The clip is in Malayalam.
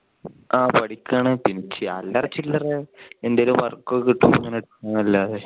ആ പഠിക്കുവാണ് പിന്നെ അല്ലറ ചില്ലറ എന്തേലും work ഒക്കെ കിട്ടുമ്പോൾ പോകും അല്ലാതെ.